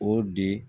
O de